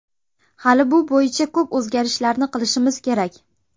Hali bu bo‘yicha ko‘p o‘zgarishlarni qilishimiz kerak.